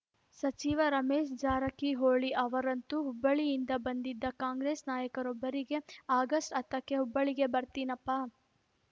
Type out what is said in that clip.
ಸಚಿವ ರಮೇಶ್‌ ಜಾರಕಿಹೊಳಿ ಅವರಂತೂ ಹುಬ್ಬಳ್ಳಿಯಿಂದ ಬಂದಿದ್ದ ಕಾಂಗ್ರೆಸ್‌ ನಾಯಕರೊಬ್ಬರಿಗೆ ಆಗಸ್ಟ್‌ ಹತ್ತಕ್ಕೆ ಹುಬ್ಬಳ್ಳಿಗೆ ಬರ್ತೀನಪ್ಪ